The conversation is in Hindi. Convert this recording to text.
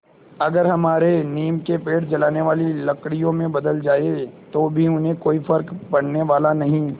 अगर हमारे नीम के पेड़ जलाने वाली लकड़ियों में बदल जाएँ तो भी उन्हें कोई फ़र्क पड़ने वाला नहीं